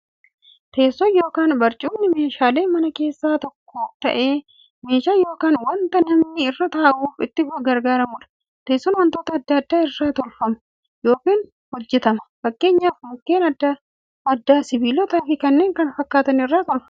Teessoon yookiin barcumni meeshaalee manaa keessaa tokko ta'ee, meeshaa yookiin wanta namni irra ta'uuf itti gargaaramuudha. Teessoon wantoota adda addaa irraa tolfama yookiin hojjatama. Fakkeenyaf Mukkeen adda addaa, sibilootaafi kanneen kana fakkaatan irraa tolfamu.